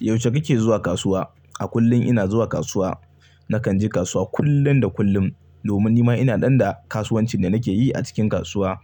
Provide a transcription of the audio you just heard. Yaushe kike zuwa kasuwa? A kullum ina zuwa kasuwa. Nakan je kasuwa kullum da kullum domin nima ina ɗanɗana kasuwancin da nake yi a cikin kasuwa.